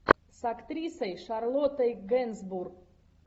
с актрисой шарлоттой генсбур